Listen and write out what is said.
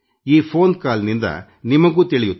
ಈ phone call ನಿಂದ ನಿಮಗೂ ತಿಳಿಯುತ್ತದೆ